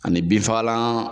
Ani binfagalan